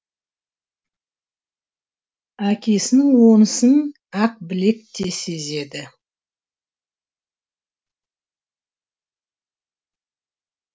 әкесінің онысын ақбілек те сезеді